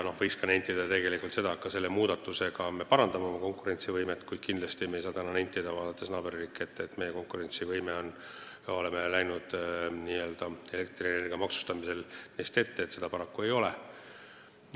Võiks nentida, et ka selle muudatusega me parandame oma konkurentsivõimet, kuid kindlasti me ei saa täna öelda, vaadates naaberriike, et me oleme läinud elektrienergia maksustamisel n-ö neist ette, seda paraku ei ole.